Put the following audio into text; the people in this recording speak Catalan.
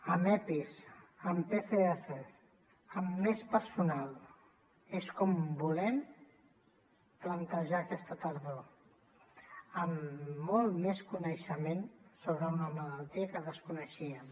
amb epis amb pcrs amb més personal és com volem plantejar aquesta tardor amb molt més coneixement sobre una malaltia que desconeixíem